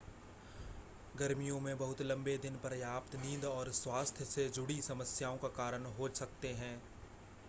गर्मियों में बहुत लंबे दिन पर्याप्त नींद और स्वास्थ्य से जुड़ी समस्याओं का कारण हो सकते हैं